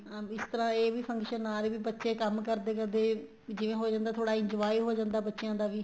ਹਾਂ ਇਸ ਤਰ੍ਹਾਂ ਇਹ ਵੀ function ਨਾਲ ਹੀ ਬੱਚੇ ਕੰਮ ਕਰਦੇ ਕਰਦੇ ਜਿਵੇਂ ਹੋ ਜਾਂਦਾ ਏ ਥੋੜਾ enjoy ਹੋ ਜਾਂਦਾ ਏ ਬੱਚਿਆ ਦਾ ਵੀ